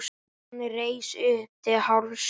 Hann reis upp til hálfs.